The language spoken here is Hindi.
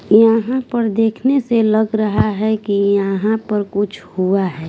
यहाँ पर देखने से लग रहा है कि यहाँ पर कुछ हुआ है।